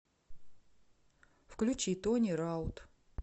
включи тони раут